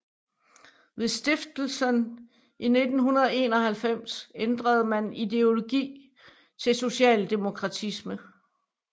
Ved stiftelsen i 1991 ændrede man ideologi til socialdemokratisme